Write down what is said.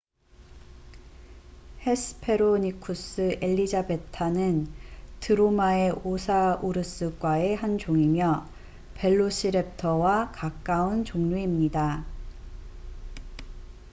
헤스페로니쿠스 엘리자베타hesperonychus elizabetae는 드로마에오사우루스과의 한 종이며 벨로시렙터와 가까운 종류입니다